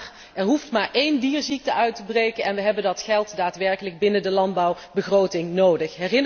Maar er hoeft maar één dierziekte uit te breken en we hebben dat geld daadwerkelijk binnen de landbouwbegroting nodig.